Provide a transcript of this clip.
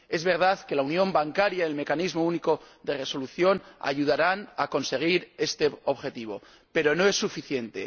Es verdad que la unión bancaria y el Mecanismo Único de Resolución ayudarán a conseguir este objetivo, pero no es suficiente.